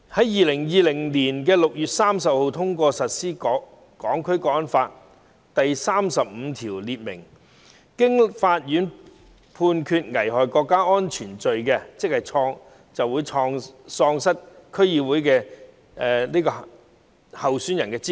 2020年6月30日通過實施的《香港國安法》的第三十五條訂明，任何人經法院判決犯危害國家安全罪行，即喪失區議會選舉候選人的資格。